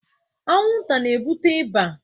Anwụnta na-ebute ịba.